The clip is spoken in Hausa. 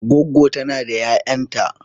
Goggo tana da 'ya'yanta.